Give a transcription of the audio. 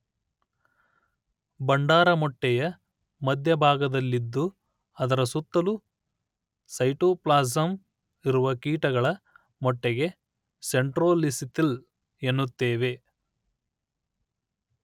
ಭಂಡಾರ ಮೊಟ್ಟೆಯ ಮಧ್ಯಭಾಗದಲ್ಲಿದ್ದು ಅದರ ಸುತ್ತಲೂ ಸೈಟೋಪ್ಲಾಸಮ್ ಇರುವ ಕೀಟಗಳ ಮೊಟ್ಟೆಗೆ ಸೆಂಟ್ರೋಲಿಸಿತಲ್ ಎನ್ನುತ್ತೇವೆ